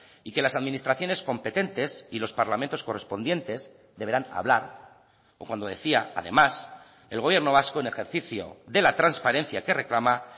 y que las administraciones competentes y los parlamentos correspondientes deberán hablar o cuando decía además el gobierno vasco en ejercicio de la transparencia que reclama